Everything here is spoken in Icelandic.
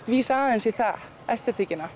vísa aðeins í það